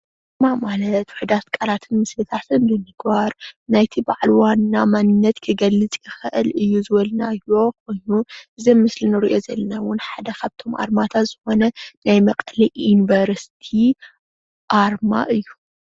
ኣርማ ማለት ዉሑዳት ቃላትን ምስልታትን ብምግባር ናይቲ በዓል ዋና ማንነት ክገልፅ ይክእል እዩ ዝበልናዮ እሞ እዚ ኣብ ምስሊ ንሪኦ ዘለና ሓደ ካብቶም ኣርማታት ዝኮነ ናይ መቀለ ዩኒቨርሲቲ ኣርማ እዩ ።